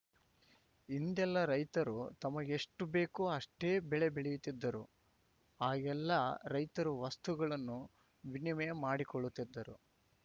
ಹಿಂದೆಲ್ಲಾ ರೈತರು ತಮಗೆಷ್ಟುಬೇಕೋ ಅಷ್ಟೇ ಬೆಳೆ ಬೆಳೆಯುತ್ತಿದ್ದರು ಆಗೆಲ್ಲಾ ರೈತರು ವಸ್ತುಗಳನ್ನು ವಿನಿಮಯ ಮಾಡಿಕೊಳ್ಳುತ್ತಿದ್ದರು